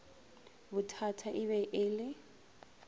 bothata e be e le